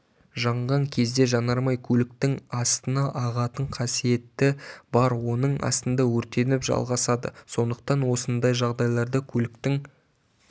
жанған кезде жанармай көліктің астына ағатын қасиеті бар оның астында өртеніп жалғасады сондықтан осындай жағдайларда көліктің